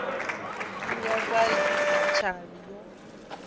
u dzhiwa sa tshavhi yo